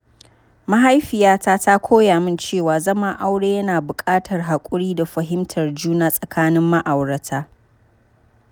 Mahaifiyata ta koya min cewa zaman aure yana buƙatar haƙuri da fahimtar juna tsakanin ma’aurata.